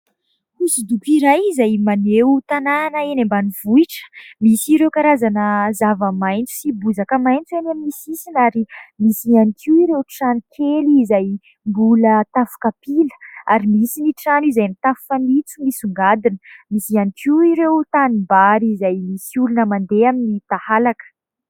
Hosodoko iray izay maneho tanàna eny ambanivohitra : misy ireo karazana zavamaniry sy bozaka maitso eny amin'ny sisiny ; ary misy ihany koa ireo trano kely izay mbola tafo kapila ary misy ny trano izay mitafo fanitso misongadina ; misy ihany koa ireo tanimbary, izay misy olona mandeha amin'ny tahalaka.